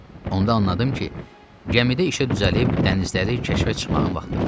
Onda anladım ki, gəmidə işə düzəlib dənizləri kəşfə çıxmağın vaxtıdır.